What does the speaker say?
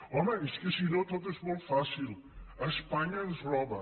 home és que si no tot és molt fàcil espanya ens roba